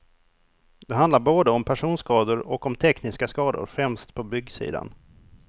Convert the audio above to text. Det handlar både om personskador och om tekniska skador, främst på byggsidan.